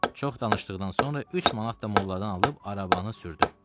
Çox danışdıqdan sonra 3 manat da molladan alıb arabanı sürdüm.